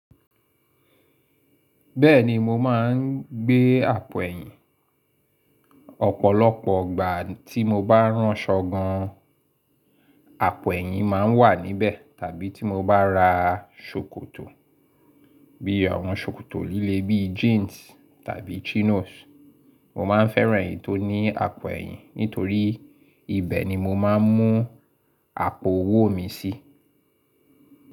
Bẹ́ẹ̀ni mo máa ń gbé àpò ẹ̀yìn. Ọ̀pọ̀lọpọ̀ ọgbà tí mo bá ránṣọ gan an, àpò ẹ̀yìn máa ń wà níbẹ̀. Tàbí tí mo bá ra ṣòkòtò bí i àwọn ṣòkòtò líle bí i jeans tàbí chinos, mo máa ń fẹ́ran èyí tó ní àpò ẹ̀yìn nítorí ibẹ̀ ni mo máa ń mú àpò owó mi sí.